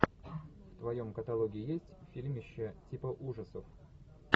в твоем каталоге есть фильмище типа ужасов